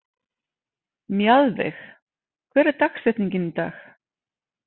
Mjaðveig, hver er dagsetningin í dag?